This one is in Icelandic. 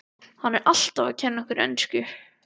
Hann er alltaf að kenna okkur ensku!